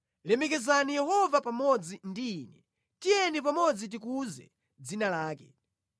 Lemekezani Yehova pamodzi ndi ine; tiyeni pamodzi tikuze dzina lake.